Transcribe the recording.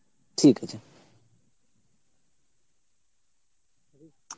ঠিক আছে.